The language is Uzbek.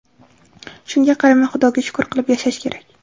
Shunga qaramay, Xudoga shukr qilib yashash kerak.